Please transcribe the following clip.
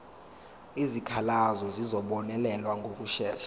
izikhalazo zizobonelelwa ngokushesha